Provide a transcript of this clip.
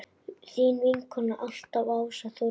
Þín vinkona alltaf, Ása Þórdís.